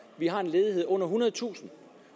vi har en ledighed under ethundredetusind